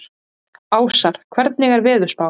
Ásar, hvernig er veðurspáin?